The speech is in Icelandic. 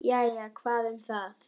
Jæja, hvað um það.